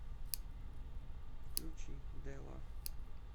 включи дела